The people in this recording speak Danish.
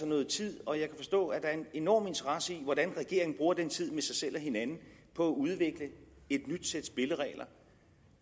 noget tid og jeg kan forstå at der er en enorm interesse i hvordan regeringen bruger den tid med sig selv og hinanden på at udvikle et nyt sæt spilleregler